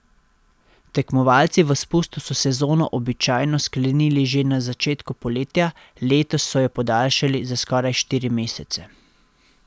Tekmovalci v spustu so sezono običajno sklenili že na začetku poletja, letos so jo podaljšali za skoraj štiri mesece.